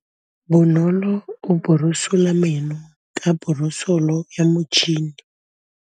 Bonolô o borosola meno ka borosolo ya motšhine.